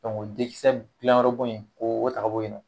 o dekisɛ gilan yɔrɔ bon in, o be ta ka bo yen nɔ.